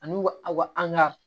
Ani u ka u an ka